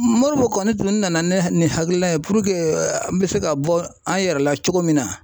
Moribo kɔni tun nana ne nin hakilila ye puruke an bɛ se ka bɔ an yɛrɛ la cogo min na.